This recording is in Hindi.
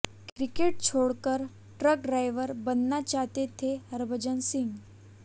क्रिकेट छोड़कर ट्रक ड्राइवर बनना चाहते थे हरभजन सिंह